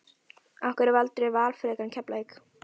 Af hverju valdirðu Val frekar en Keflavík?